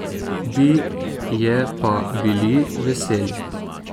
Bi je pa bili veseli.